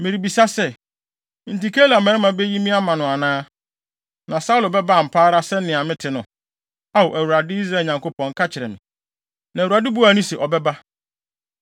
Merebisa sɛ, enti Keila mmarima beyi me ama no anaa? Na Saulo bɛba ampa ara sɛnea mete no? Ao, Awurade, Israel Nyankopɔn, ka kyerɛ me.” Na Awurade buaa no se, “Ɔbɛba.”